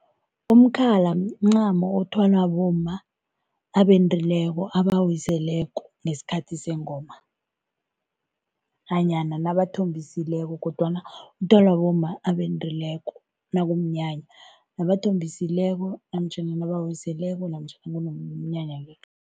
Umkhala mncamo othwalwa bomma abendileko, abawiseleko ngesikhathi sengoma nanyana nabathombisile kodwana uthwalwa bomma abendileko nakumnyanya nabathombisileko ehloko namtjhana nabawiseleko namtjhana kunomnyanya le.